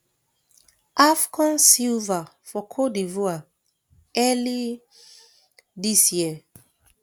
afcon silver for cote divoire early dis year